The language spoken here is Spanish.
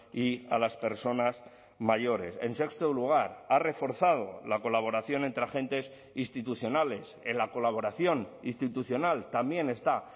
y a las personas mayores en sexto lugar ha reforzado la colaboración entre agentes institucionales en la colaboración institucional también está